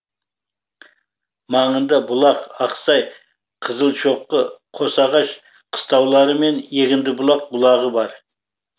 маңында бұлақ ақсай қызылшоқы қосағаш қыстаулары мен егіндібұлақ бұлағы бар